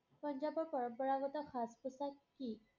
পঞ্জাৱৰ পৰম্পৰাগত সাজ-পোছাক কি?